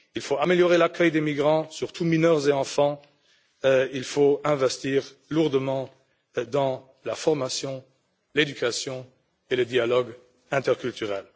Il faut améliorer l'accueil des migrants, surtout des mineurs et des enfants, il faut investir lourdement dans la formation, l'éducation et le dialogue interculturel.